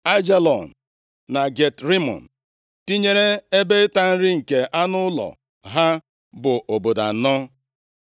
Aijalon na Gat Rimọn, tinyere ebe ịta nri nke anụ ụlọ ha, bụ obodo anọ.